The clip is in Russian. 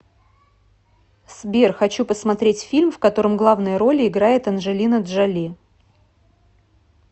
сбер хочу посмотреть фильм в котором главные роли играет анжелина джоли